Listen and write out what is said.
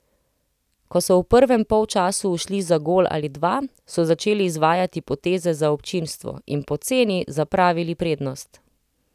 Ko so v prvem polčasu ušli za gol ali dva, so začeli izvajati poteze za občinstvo in poceni zapravili prednost.